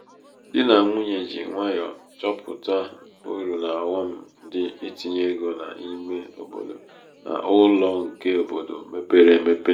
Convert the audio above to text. dị nà nwunye ji nwayọ chọpuụta uru na ọghọm dị itinye ego n' ímé obodo na ụlọ nke obodo mepere emepe.